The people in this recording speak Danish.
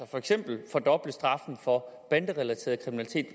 for eksempel straffen for banderelateret kriminalitet